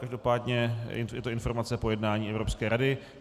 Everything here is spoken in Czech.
Každopádně je to informace po jednání Evropské rady.